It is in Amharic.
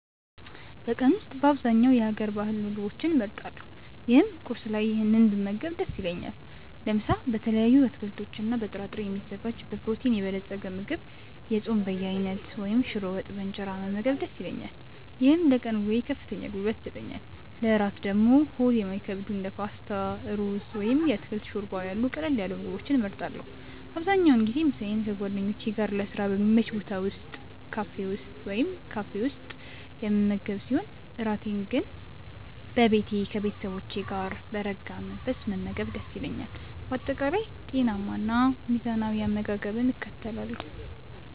በቀን ውስጥ በአብዛኛው የሀገር ባህል ምግቦችን እመርጣለሁ ይህም ቁርስ ላይ ይህንን ብመገብ ደስ ይለኛል። ለምሳ በተለያዩ አትክልቶችና በጥራጥሬ የሚዘጋጅ በፕሮቲን የበለፀገ ምግብ፣ የጾም በየአይነቱ ወይም ሽሮ ወጥ በእንጀራ መመገብ ደስ ይለኛል። ይህም ለቀን ውሎዬ ከፍተኛ ጉልበት ይሰጠኛል። ለእራት ደግሞ ሆድ የማይከብዱ እንደ ፓስታ፣ ሩዝ ወይም የአትክልት ሾርባ ያሉ ቀለል ያሉ ምግቦችን እመርጣለሁ። አብዛኛውን ጊዜ ምሳዬን ከጓደኞቼ ጋር ለስራ በሚመች ቦታ ወይም ካፌ ውስጥ የምመገብ ሲሆን፣ እራቴን ግን በቤቴ ከቤተሰቦቼ ጋር በረጋ መንፈስ መመገብ ደስ ይለኛል። በአጠቃላይ ጤናማና ሚዛናዊ አመጋገብን እከተላለሁ።